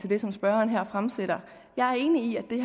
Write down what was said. det som spørgeren her siger jeg er enig i at det